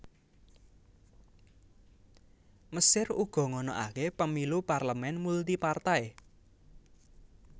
Mesir uga ngonoaké Pemilu parlemen multipartai